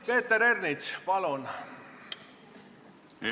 Peeter Ernits, palun!